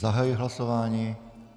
Zahajuji hlasování.